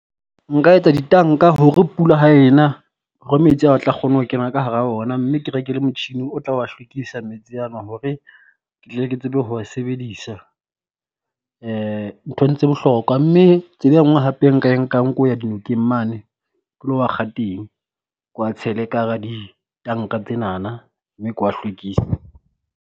Nka etsa ditanka hore pula ha e na hore metsi ao a tla kgone ho kena ka hara ona mme ke reke le motjhini o tla wa hlwekisa metsi a nwa hore ke tsebe ho wa sebedisa. nthong tse bohlokwa mme tsela e nngwe hape nka e nkang ko ya dinokeng mane ke lo wa kga teng kwa tshele ka hara ditanka tsenana mme ke wa hlwekise.